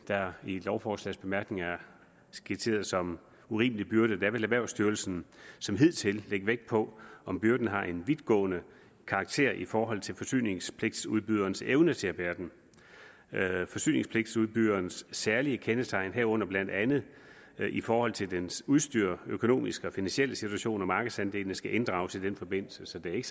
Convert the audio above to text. der i lovforslagets bemærkninger er skitseret som urimelige byrder vil erhvervsstyrelsen som hidtil lægge vægt på om byrden har en vidtgående karakter i forhold til forsyningspligtudbyderens evne til at bære den forsyningspligtudbyderens særlige kendetegn herunder blandt andet i forhold til dens udstyr økonomiske og finansielle situation og markedsandele skal inddrages i den forbindelse så det er